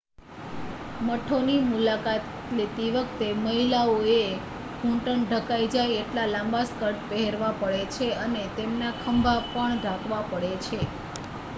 મઠોની મુલાકાત લેતી વખતે મહિલાઓએ ઘૂંટણ ઢંકાય જાય એટલા લાંબા સ્કર્ટ પહેરવા પડે છે અને તેમના ખભા પણ ઢાંકવા પડે છે